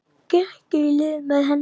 Gekk í lið með henni.